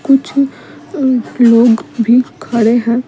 कुछ एम लोग भी खड़े हैं।